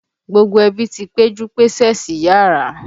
Gbogbo ẹbí ti péjú pésè síyàrá.